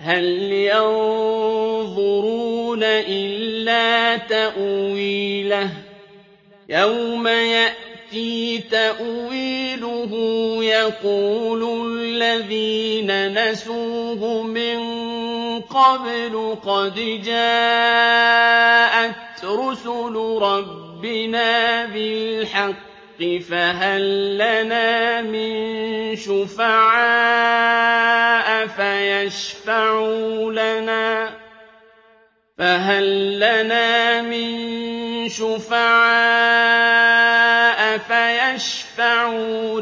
هَلْ يَنظُرُونَ إِلَّا تَأْوِيلَهُ ۚ يَوْمَ يَأْتِي تَأْوِيلُهُ يَقُولُ الَّذِينَ نَسُوهُ مِن قَبْلُ قَدْ جَاءَتْ رُسُلُ رَبِّنَا بِالْحَقِّ فَهَل لَّنَا مِن شُفَعَاءَ فَيَشْفَعُوا